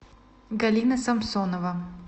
галина самсонова